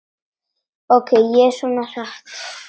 Ók ég svona hratt?